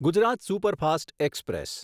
Gujarat superfast express